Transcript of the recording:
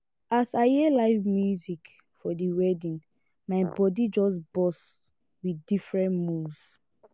as i hear live music for di wedding my bodi just burst wit different moves.